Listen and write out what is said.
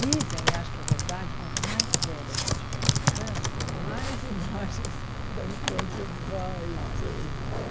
Dizem, e acho que é verdade, quanto mais velha a gente vai ficando, mais imagens da infância vai vindo, né?